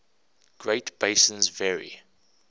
great basins vary